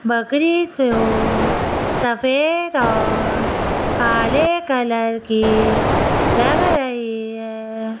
बकरीद तो सफेद और काले कलर की लग रही है।